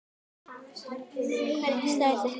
Hvernig slær þetta þig?